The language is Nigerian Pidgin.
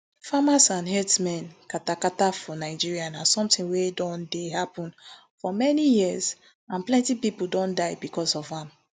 farmers and herdsmen katakata for nigeria na somtin wey don dey happun for many years and plenty pipo don die becos of am